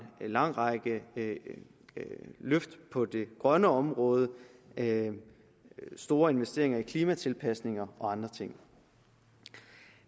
lang række løft på det grønne område store investeringer i klimatilpasninger og andre ting